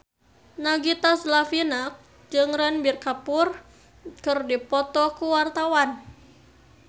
Nagita Slavina jeung Ranbir Kapoor keur dipoto ku wartawan